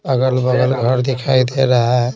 अगल-बगल घर दिखाई दे रहा है।